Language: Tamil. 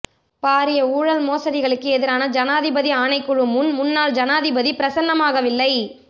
பாரிய ஊழல் மோசடிகளுக்கு எதிரான ஜனாதிபதி ஆணைக்குழு முன் முன்னாள் ஜனாதிபதி பிரசன்னமாகவில்லை